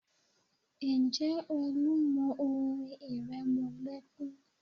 Ǹjẹ́ Olú mọ orin ìrẹmọlẹ́kún?